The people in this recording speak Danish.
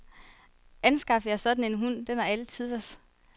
Anskaf jer sådan en hund, den er alle tiders.